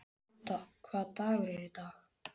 Gudda, hvaða dagur er í dag?